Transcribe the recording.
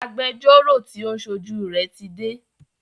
Agbẹjọ́rọ́ tí o ń ṣojú rẹ tí dé.